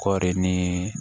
Kɔri ni